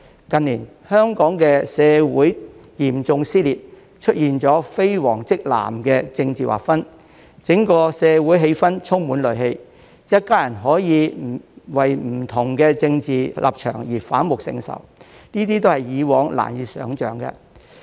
近年，香港社會嚴重撕裂，出現了"非黃即藍"的政治劃分，整個社會的氣氛充滿戾氣，一家人可以為不同的政治立場而反目成仇，這是以往難以想象的。